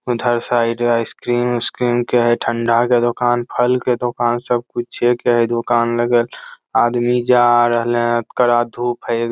उधर side ice cream - उस cream के है ठंडा के दूकान फल के दूकान सब कुछे के है दूकान लगल आदमी जा रहल है कड़ा धुप है --